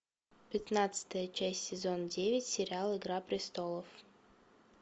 пятнадцатая часть сезон девять сериал игра престолов